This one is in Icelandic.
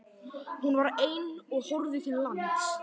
Hún var ein á og horfði til lands.